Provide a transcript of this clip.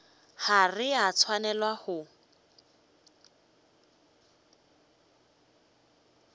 ga re a swanela go